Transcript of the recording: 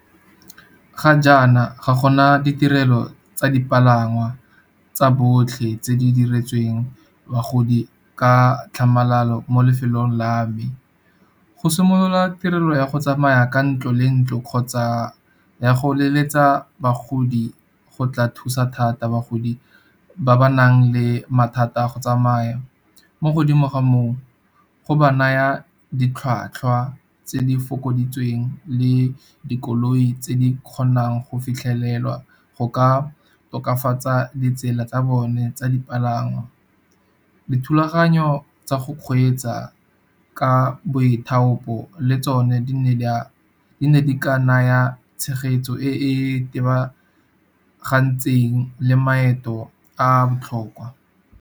Ga jaana ga gona ditirelo tsa dipalangwa tsa botlhe tse di diretsweng bagodi ka tlhamalalo mo lefelong la me. Go simolola tirelo ya go tsamaya ka ntlo le ntlo kgotsa ya go leletsa bagodi go tla thusa thata bagodi ba ba nang le mathata a go tsamaya. Mo godimo ga moo go ba naya ditlhwatlhwa tse di fokoditsweng le dikoloi tse di kgonang go fitlhelelwa go ka tokafatsa ditsela tsa bone tsa dipalangwa. Dithulaganyo tsa go kgweetsa ka boithaopo le tsone di ne di ka naya tshegetso e itebagantseng le maeto a botlhokwa.